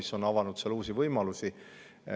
See on avanud seal uusi võimalusi.